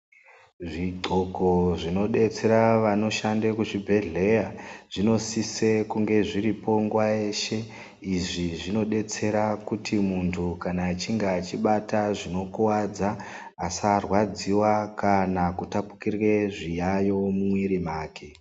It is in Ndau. Zvigqoko zvinobetsera vantu vanoshanda zvibhedhleya zvinosise kunge zviripo nguwa yeshe izvi zvinobetsera kuti muntu kana achinge achibata zvinokuwadza asarwadziwa kana kutapukirwe zviyayiyo mumuwiri mwake.